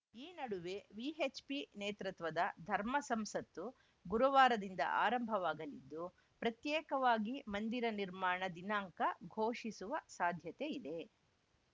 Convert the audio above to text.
ಈ ನಡುವೆ ವಿಎಚ್‌ಪಿ ನೇತೃತ್ವದ ಧರ್ಮ ಸಂಸತ್ತು ಗುರುವಾರದಿಂದ ಆರಂಭವಾಗಲಿದ್ದು ಪ್ರತ್ಯೇಕವಾಗಿ ಮಂದಿರ ನಿರ್ಮಾಣ ದಿನಾಂಕ ಘೋಷಿಸುವ ಸಾಧ್ಯತೆ ಇದೆ